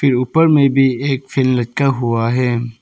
ऊपर में भी एक फैन लक्का हुआ है।